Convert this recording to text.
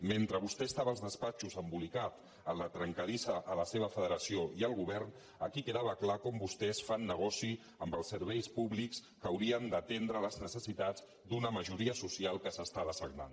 mentre vostè estava als despatxos embolicat en la trencadissa a la seva federació i al govern aquí quedava clar com vostès fan negoci amb els serveis públics que haurien d’atendre les necessitats d’una majoria social que s’està dessagnant